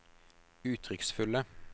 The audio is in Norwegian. uttrykksfulle